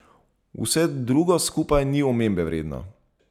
Vse drugo skupaj ni omembe vredno.